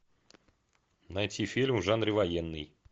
найти фильм в жанре военный